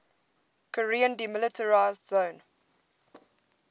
korean demilitarized zone